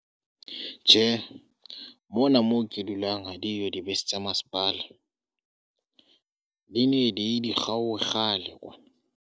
Tjhe, mona moo ke dulang ha diyo dibese tsa masepala, di ne diye dikgaohe kgale kwana.